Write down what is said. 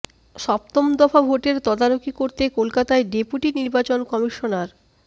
সপ্তম দফা ভোটের তদারকি করতে কলকাতায় ডেপুটি নির্বাচন কমিশনার